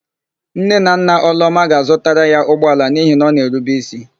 Nne na nna Ọlụọma ga-azụtara ya ụgbọala n'ihi na ọ na-erube ísí.